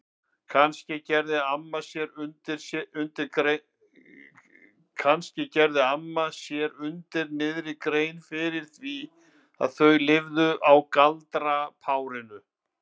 Kannski gerði amma sér undir niðri grein fyrir því að þau lifðu á galdrapárinu?